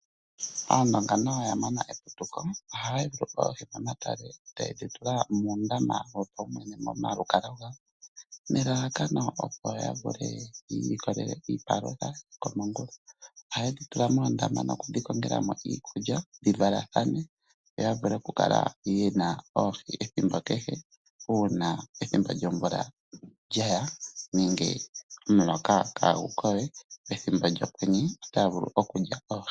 Aandonga nayo oya mona eputuko. Ohaya yulu oohi momatale e taye dhi tula muundama wopawumwene momalukalwa gawo nelalakano ya vule okuilikolela iipalutha yokomongula. Ohaye dhi tula moondama nokudhi tulila mo iikulya dhi valathane yo ya vule okukala ye na oohi ethimbo kehe uuna ethimbo lyomvula lya ya nenge omuloka kaagu ko we pethimbo lyokwenye otaya vulu okulya oohi.